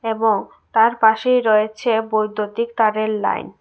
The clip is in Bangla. এবং তার পাশেই রয়েছে বৈদ্যুতিক তাদের লাইন ।